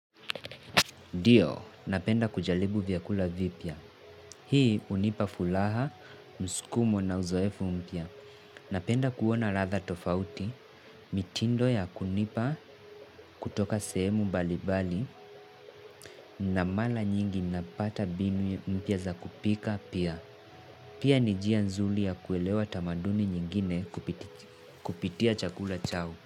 Ndio, napenda kujaribu vyakula vipya. Hii unipa furaha, mskumo na uzoefu mpya. Napenda kuona ladha tofauti, mitindo ya kunipa kutoka sehemu mbalimbali na mara nyingi napata mbinu mpya za kupika pia. Pia ni njia nzuri ya kuelewa tamaduni nyingine kupitia chakula chao.